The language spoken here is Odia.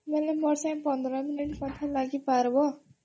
ବେଲେ ମୋ ସାଙ୍ଗେ ପନ୍ଦର ମିନିଟ୍ କଥା ଲାଗ୍ ପାରବ?